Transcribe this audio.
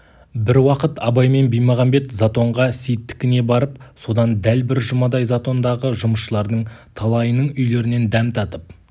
бір уақыт абай мен баймағамбет затонға сейіттікіне барып содан дәл бір жұмадай затондағы жұмысшылардың талайының үйлерінен дәм татып